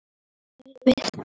Hann hlær við.